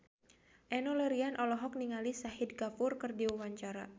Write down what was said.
Enno Lerian olohok ningali Shahid Kapoor keur diwawancara